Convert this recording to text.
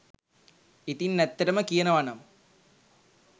ඉතින් ඇත්තටම කියනවනම්